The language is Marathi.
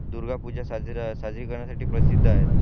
दुर्गा पूजा साजरी करण्यासाठी प्रसिद्ध आहे